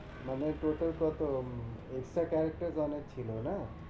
মানে প্রথম প্রথম extra character ও অনেক ছিলো না?